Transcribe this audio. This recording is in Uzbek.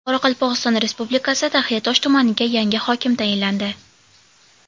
Qoraqalpog‘iston Respublikasi Taxiatosh tumaniga yangi hokim tayinlandi.